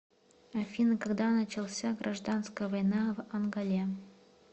афина когда начался гражданская война в анголе